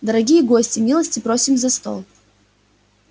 дорогие гости милости просим за стол